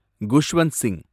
Khushwant Singh